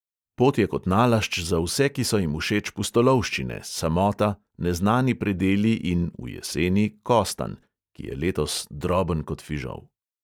Pot je kot nalašč za vse, ki so jim všeč pustolovščine, samota, neznani predeli in (v jeseni) kostanj (ki je letos droben kot fižol).